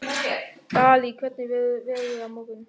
Dalí, hvernig verður veðrið á morgun?